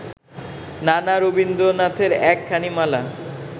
নানা রবীন্দ্রনাথের একখানি মালা